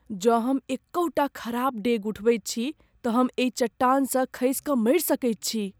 जँ हम एकहुँटा खराब डेग उठबैत छी तँ हम एहि चट्टानसँ खसि कऽ मरि सकैत छी।